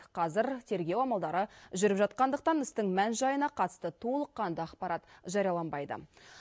қазір тергеу амалдары жүріп жатқандықтан істің мән жайына қатысты толыққанды ақпарат жарияланбайды